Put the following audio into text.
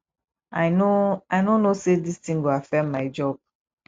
i no i no know say dis thing go affect my job